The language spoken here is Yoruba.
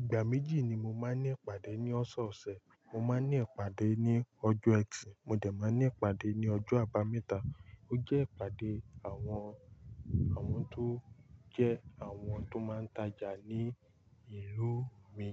Ìgbà méjì ni mo máa ń ní ìpàdé ní ọ̀sọ̀ọ̀sẹ̀, mo máa ń ní ìpàdé ní ọjọ́ ẹtì, mo jẹ̀ máa ní ìpàdé ní ọjọ́ àbámẹ́ta, o jẹ́ ìpàdé àwọn, àwọn tó jẹ́ àwọn tó máa ń tajà ní ìlú mi,